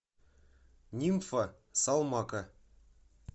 нимфа салмака